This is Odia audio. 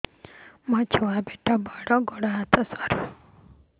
ମୋ ଛୁଆ ପେଟ ବଡ଼ ଗୋଡ଼ ହାତ ସରୁ